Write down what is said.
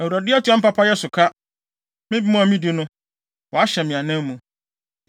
“ Awurade atua me papayɛ so ka; me bem a midi no, wahyɛ me anan mu.